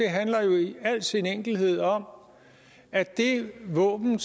handler jo i al sin enkelhed om at det våben